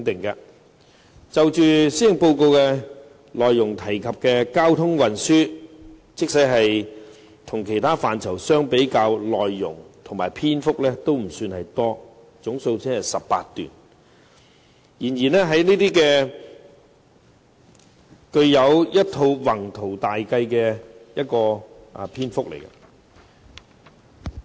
施政報告提及有關交通運輸的政策，與其他範疇比較，內容和篇幅都不算多，總數只有18段，然而卻展現了一套宏圖大計。